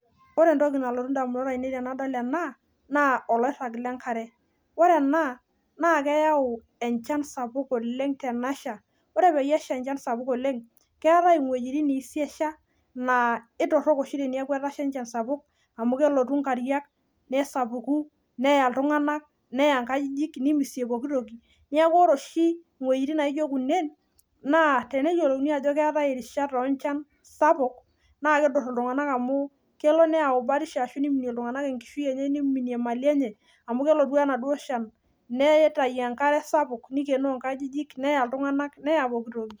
Wore entoki nalotu indamunot aiinei tenadol ena, naa olairag lenkare. Wore ena, naa keyau enchan sapuk oleng' tenesha, wore peyie esha enchan sapuk oleng', keetae iwejitin naisiasha, naa ketorrok oshi teneaku etasha enchan sapuk amu kelotu inkarriak, nesapuku, neya iltunganak, neya inkajijik, nimisie pookin toki. Neeku wore oshi iwejitin naijo kunen, naa teneyiolouni ajo keetae irishat onchan sapuk, naa kiidur iltunganak amu kelo neyau batisho ashu niminie iltunganak enkishui enye ashu niminie imali enye, amu kelotu enaduo shan, nitayu enkare sapuk, nikionoo inkajijik, neya iltunganak, neya pookin toki.